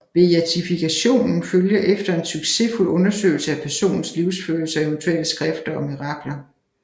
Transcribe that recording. Beatifikationen følger efter en succesfuld undersøgelse af personens livsførelse og eventuelle skrifter og mirakler